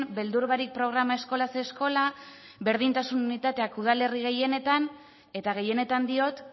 beldur barik programa eskolaz eskola berdintasun unitateak udalerri gehienetan eta gehienetan diot